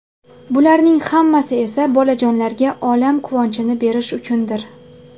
Bularning hammasi esa bolajonlarga olam quvonchini berish uchundir.